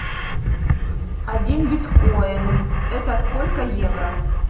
один биткоин это сколько евро